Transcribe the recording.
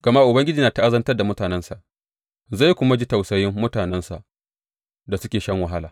Gama Ubangiji ya ta’azantar da mutanensa zai kuma ji tausayin mutanensa da suke shan wahala.